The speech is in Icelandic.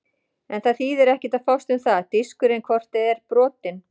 En það þýðir ekkert að fást um það, diskurinn er hvort eð er brotinn.